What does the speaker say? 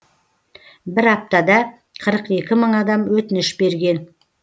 бір аптада қырық екі мың адам өтініш берген